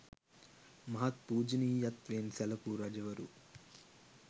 මහත් පූජනීයත්වයෙන් සැලකූ රජවරු